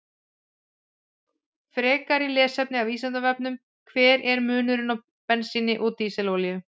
Frekara lesefni af Vísindavefnum: Hver er munurinn á bensíni og dísilolíu?